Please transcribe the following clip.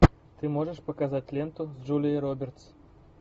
ты можешь показать ленту с джулией робертс